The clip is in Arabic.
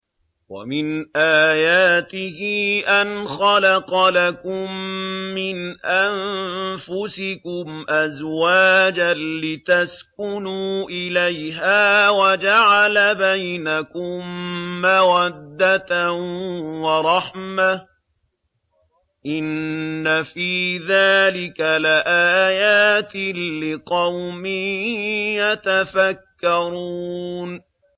وَمِنْ آيَاتِهِ أَنْ خَلَقَ لَكُم مِّنْ أَنفُسِكُمْ أَزْوَاجًا لِّتَسْكُنُوا إِلَيْهَا وَجَعَلَ بَيْنَكُم مَّوَدَّةً وَرَحْمَةً ۚ إِنَّ فِي ذَٰلِكَ لَآيَاتٍ لِّقَوْمٍ يَتَفَكَّرُونَ